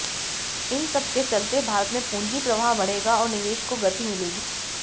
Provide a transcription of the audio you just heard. इन सब के चलते भारत में पूंजी प्रवाह बढ़ेगा और निवेश को गति मिलेगी